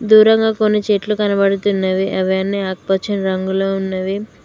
దూరంగా కొన్ని చెట్లు కనబడుతున్నవి అవి అన్ని ఆకుపచ్చని రంగులో ఉన్నవి.